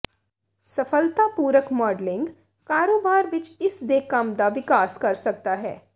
ਸਫਲਤਾਪੂਰਕ modelling ਕਾਰੋਬਾਰ ਵਿਚ ਇਸ ਦੇ ਕੰਮ ਦਾ ਵਿਕਾਸ ਕਰ ਸਕਦਾ ਹੈ